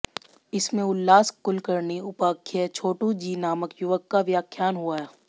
इसमें उल्लास कुलकर्णी उपाख्य छोटूजी नामक युवक का व्याख्यान हुआ